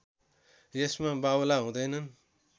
यसमा बाउला हुँदैनन्